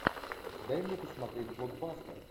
дай мне посмотреть блокбастер